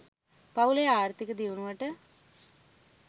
පවුලේ ආර්ථික දියුණුවට